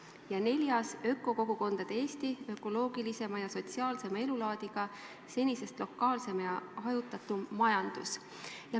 Ja neljas on ökokogukondade Eesti ökoloogilisema ja sotsiaalsema elulaadiga, senisest lokaalsema ja hajutatuma majandusega.